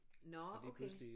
Nåh okay